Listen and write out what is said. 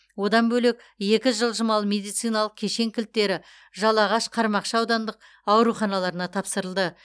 одан бөлек екі жылжымалы медициналық кешен кілттері жалағаш қармақшы аудандық ауруханаларына тапсырылды